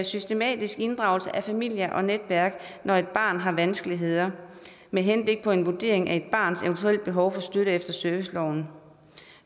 systematisk inddragelse af familie og netværk når et barn har vanskeligheder med henblik på en vurdering af et barns eventuelle behov for støtte efter serviceloven